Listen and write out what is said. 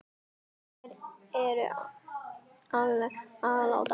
Þær eru allar látnar.